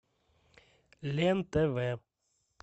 лен тв